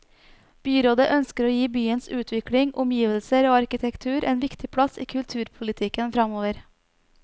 Byrådet ønsker å gi byens utvikling, omgivelser og arkitektur en viktig plass i kulturpolitikken framover.